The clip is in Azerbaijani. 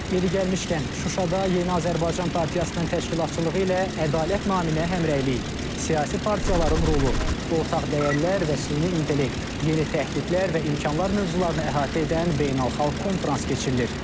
Yeri gəlmişkən, Şuşada Yeni Azərbaycan Partiyasının təşkilatçılığı ilə ədalət naminə həmrəylik, siyasi partiyaların rolu, ortaq dəyərlər və süni intellekt, yeni təhdidlər və imkanlar mövzularını əhatə edən beynəlxalq konfrans keçirilir.